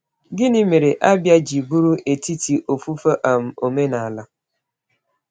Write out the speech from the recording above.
Gịnị mere Abia ji bụrụ etiti ofufe um omenala?